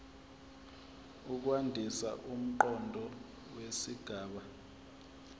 ukwandisa umqondo wesigaba